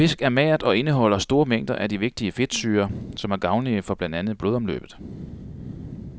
Fisk er magert og indeholder store mængder af de vigtige fedtsyrer, som er gavnlige for blandt andet blodomløbet.